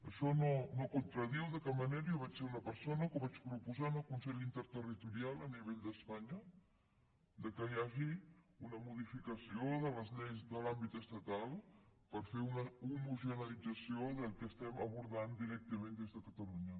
això no contradiu de cap manera i jo vaig ser una persona que ho vaig proposar en el consell interterritorial a nivell d’espanya que hi hagi una modificació de les lleis de l’àmbit estatal per fer una homogeneïtzació que estem abordant directament des de catalunya